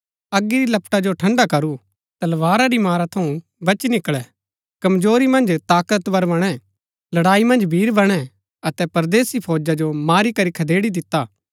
अगी री लपटा जो ठंड़ा करू तलवारा री मारा थऊँ बची निकळै कमजोरी मन्ज ताकतवर बणै लड़ाई मन्ज वीर बणै अतै परदेसी फौजा जो मारी करी खदेड़ी दिता